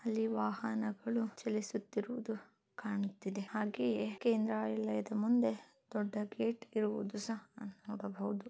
ಅಲ್ಲಿ ವಾಹನಗಳು ಚಲಿಸುತ್ತಿರುವುದು ಕಾಣುತ್ತಿದೆ ಹಾಗೆ ಕೇಂದ್ರಾಲಯದ ಮುಂದೆ ದೊಡ್ಡ ಗೇಟ್ ಇರುವುದು ಸಹಾ ಅ ನೋಡಬಹುದು.